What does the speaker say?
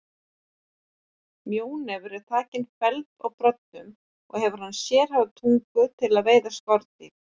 Mjónefur er þakinn feldi og broddum og hefur hann sérhæfða tungu til að veiða skordýr.